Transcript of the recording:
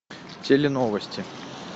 теленовости